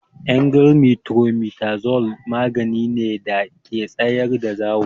Emgyl metronidazole magani ne da ke tsayar da zawo.